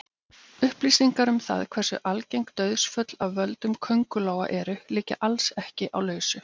Upplýsingar um það hversu algeng dauðsföll af völdum köngulóa eru liggja alls ekki á lausu.